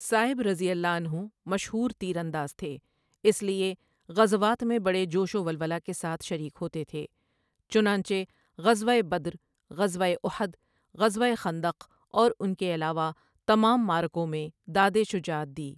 سائب رضی اللہ عنہ مشہور تیز انداز تھے، اس لیے غزوات میں بڑے جوش و ولولہ کے ساتھ شریک ہوتے تھے، چنانچہ غزوہ بدر، غزوہ احد ، غزوہ خندق اور ان کے علاوہ تمام معرکوں میں داد شجاعت دی۔